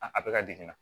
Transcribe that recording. A bɛɛ ka degun na